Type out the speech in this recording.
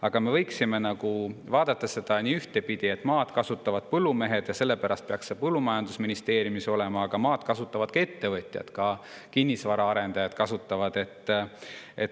Aga me võiksime nagu vaadata seda niipidi, et maad kasutavad põllumehed ja sellepärast peaks see põllumajandusministeeriumi all olema, aga maad kasutavad ka ettevõtjad, sealhulgas kinnisvaraarendajad.